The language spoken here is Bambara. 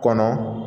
Kɔnɔ